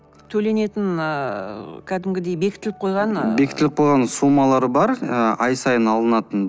төленетін ыыы кәдімгідей бекітіліп қойған ыыы бекітіліп қойған суммалары бар ы ай сайын алынатын